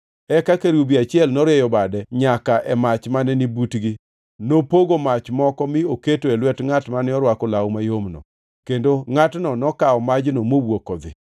Eka kerubi achiel norieyo bade nyaka e mach mane ni butgi. Nopogo mach moko mi oketo e lwet ngʼat mane orwako law mayomno, kendo ngʼatno nokawo majno mowuok odhi.